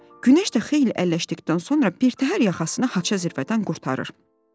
Günəş də xeyli əlləşdikdən sonra birtəhər yaxasını haça zirvədən qurtarır.